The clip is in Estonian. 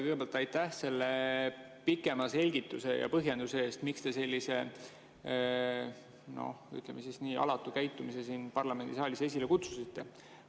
Kõigepealt aitäh selle pikema selgituse ja põhjenduse eest, miks te sellise, ütleme, nii alatu käitumise siin parlamendisaalis esile kutsusite.